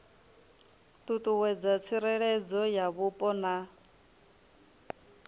ṱuṱuwedza tsireledzo ya mupo na